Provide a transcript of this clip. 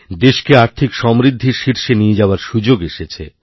দেশকে আর্থিক সমৃদ্ধির শীর্ষে নিয়ে যাওয়ারসুযোগ এসেছে